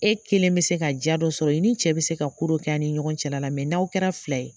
E kelen bɛ se ka diya dɔ sɔrɔ i ni cɛ bɛ se ka ko dɔ kɛ a' ni ɲɔgɔn cɛla la n'aw kɛra fila ye